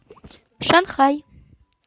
шанхай